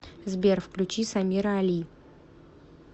сбер включи самира али